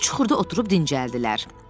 Qumlu çuxurda oturub dincəldilər.